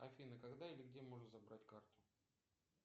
афина когда и где можно забрать карту